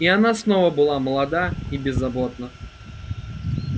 и она снова была молода и беззаботна